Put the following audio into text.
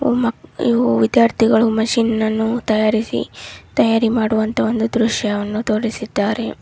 ಓಹ್ ಮಾ ಇವು ವಿದ್ಯಾರ್ಥಿಗಳು ಮೆಷಿನ್ ಅನ್ನು ತಯಾರಿಸಿ ತಯಾರು ಮಾಡುವಂತಹ ಒಂದು ದೃಶ್ಯವನ್ನು ತೋರಿಸಿದ್ದಾರೆ.